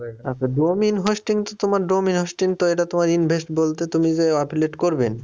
আচ্ছা domain hosting তো তোমার domain hosting তো এটা তোমার invest বলতে তুমি যে affiliate করবেন।